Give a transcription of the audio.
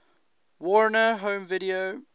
warner home video